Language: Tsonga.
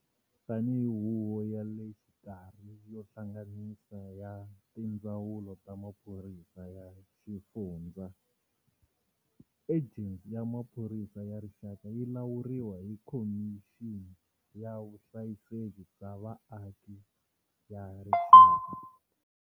Tanihi huvo ya le xikarhi yo hlanganisa ya Tindzawulo ta Maphorisa ya Swifundzha, Ejensi ya Maphorisa ya Rixaka yi lawuriwa hi Khomixini ya Vuhlayiseki bya Vaaki ya Rixaka.